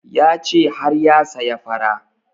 Ya ce har ya saya fara